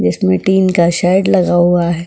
जिसमें टीन का शेड लगा हुआ है।